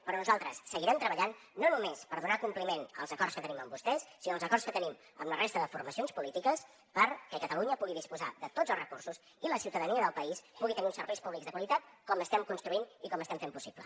però nosaltres seguirem treballant no només per donar compliment als acords que tenim amb vostès sinó als acords que tenim amb la resta de formacions polítiques perquè catalunya pugui disposar de tots els recursos i la ciutadania del país pugui tenir uns serveis públics de qualitat com estem construint i com estem fent possible